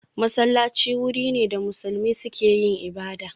Masallaci wuri ne da musulmi suke yin ibada